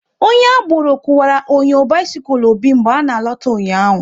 Onye agboro kuwara onyo bisikul Obi mgbe ọ na alota ụnyaahụ